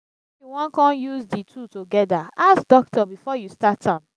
if yu wan con use di two togeda ask dokitor bifor yu start am